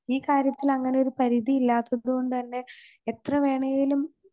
ഈ കാര്യത്തിൽ അങ്ങനെ ഒരു പരിധിയില്ലാത്തതുകൊണ്ട്തന്നെ എത്രവേണേലും